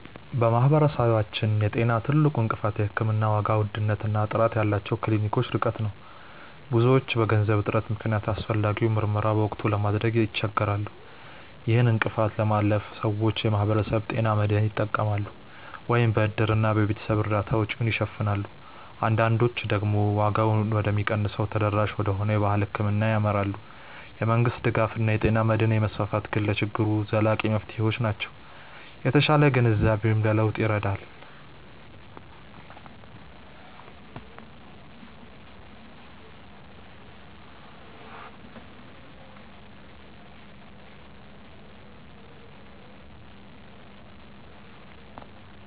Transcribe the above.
በማህበረሰባችን የጤና ትልቁ እንቅፋት የሕክምና ዋጋ ውድነት እና ጥራት ያላቸው ክሊኒኮች ርቀት ነው። ብዙዎች በገንዘብ እጥረት ምክንያት አስፈላጊውን ምርመራ በወቅቱ ለማድረግ ይቸገራሉ። ይህን እንቅፋት ለማለፍ ሰዎች የማህበረሰብ ጤና መድህን ይጠቀማሉ፤ ወይም በእድርና በቤተሰብ እርዳታ ወጪውን ይሸፍናሉ። አንዳንዶች ደግሞ ዋጋው ወደሚቀንሰው እና ተደራሽ ወደሆነው የባህል ሕክምና ያመራሉ። የመንግስት ድጋፍ እና የጤና መድህን መስፋፋት ግን ለችግሩ ዘላቂ መፍትሄዎች ናቸው። የተሻለ ግንዛቤም ለለውጥ ይረዳል።